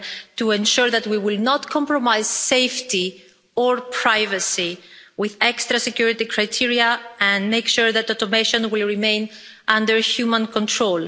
to ensure that we will not compromise safety or privacy with extra security criteria, and will make sure that automation remains under human control.